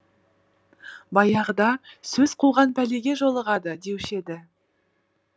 баяғыда сөз қуған пәлеге жолығады деуші еді